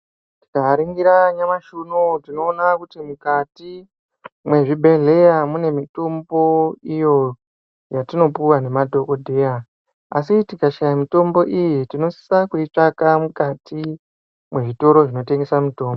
Tikaringira nyamashi inouyu tinoona kuti mukati mwezvibhedhleya mune mitombo iyo yatinopuwa nemadhogodheya. Asi tikashaya mitombo iyi tinosisa kuitsvaka mukati mwezvitoro zvinotengesa mitombo.